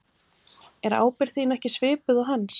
Er ábyrgð þín ekki svipuð og hans?